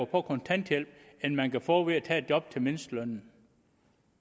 på kontanthjælp end man kan få ved at tage et job til mindstelønnen